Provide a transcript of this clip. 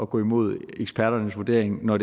gå imod eksperternes vurdering når